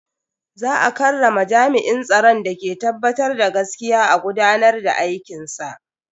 Za a karrama jami'in tsaron da ke tabbatar da gaskiya a gudanar da aikinsa.